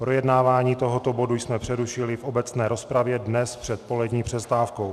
Projednávání tohoto bodu jsme přerušili v obecné rozpravě dnes před polední přestávkou.